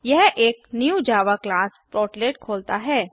यह एक new Java class portlet खोलता है